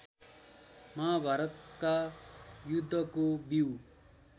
महाभारतका युद्धको बीउ